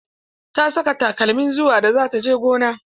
Ta saka takalmin ruwa da za ta je gona.